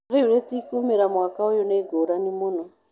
"Rĩu rĩtikumĩra mwaka ũyũ" nĩ ngũrani mũno.